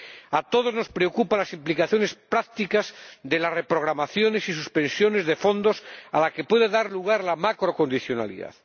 A todos nos preocupan las implicaciones prácticas de las reprogramaciones y suspensiones de fondos a las que puede dar lugar la macrocondicionalidad.